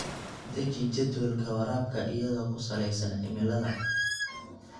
Deji jadwalka waraabka iyadoo ku saleysan cimilada.